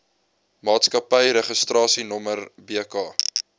maatskappy registrasienommer bk